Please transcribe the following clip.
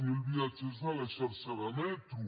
zero viatgers de la xarxa de metro